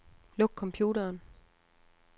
Luk computeren.